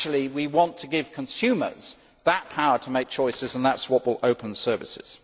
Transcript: all. We want to give consumers that power to make choices and that is what will open services.